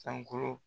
Sankolo